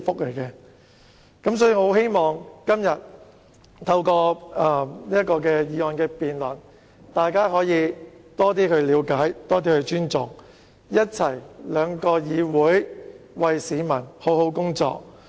所以，我很希望透過今天的議案辯論，讓大家有更多了解和尊重，讓兩層議會一起為市民好好工作。